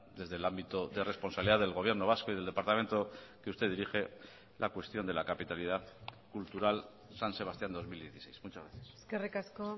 desde el ámbito de responsabilidad del gobierno vasco y del departamento que usted dirige la cuestión de la capitalidad cultural san sebastián dos mil dieciséis muchas gracias eskerrik asko